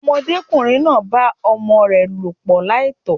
Ọmọdékùnrin náà bá ọmọ rè lòpọ̀ láìtó